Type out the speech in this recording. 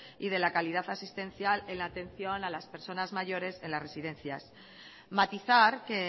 y de la calidad asistencial en atención a las personas mayores en las residencias matizar que